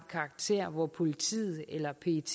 karakter hvor politiet eller pet